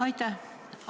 Aitäh!